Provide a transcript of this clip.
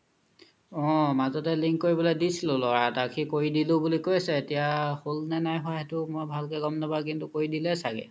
অ মাজতে link কৰিব লে দিছিলো ল'ৰা এটাক সি কৰি দিলো বুলি কইছে এতিয়া হ্'ল নে নাই হুৱা মই ভালকে গ'ম নপাও কিন্তু কৰি দিলে চাগে